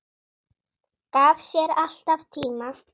Gaf sér alltaf tíma.